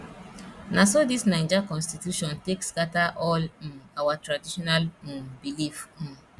na so dis naija constitution take scatter all um our traditional um belief um